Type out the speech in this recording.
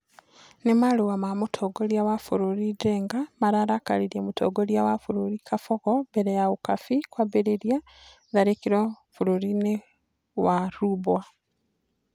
Nĩ marũa na mũtongoria wa bũrũri Njenga mararakaririe mũtongoria wa bũrũri Kabogo mbere ya Ukabi kwambĩrĩria tharĩkĩro bũrũri-inĩwa Rubwa.